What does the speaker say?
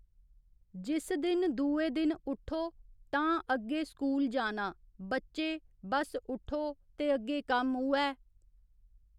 जिस दिन दूए दिन उठ्ठो तां अग्गे स्कूल जाना बच्चे बस उट्ठो ते अग्गे कम्म उ'ऐ